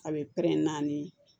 A bɛ pɛrɛn-pɛrɛn n ye